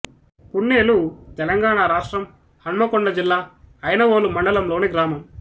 పున్నేలు తెలంగాణ రాష్ట్రం హన్మకొండ జిల్లా ఐనవోలు మండలం లోని గ్రామం